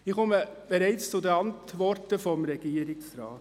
Ich komme zur Antwort des Regierungsrates.